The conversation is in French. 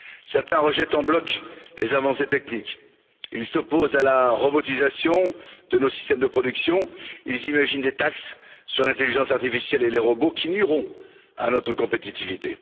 Certains rejettent en bloc les avancées techniques, ils s'opposent à la robotisation de nos systèmes de production, ils imaginent des taxes sur l'intelligence artificielle et les robots, taxes qui nuiront à notre compétitivité.